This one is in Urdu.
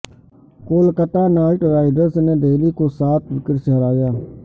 کولکتہ نائٹ رائڈرز نے دہلی کو سات وکٹ سے ہرایا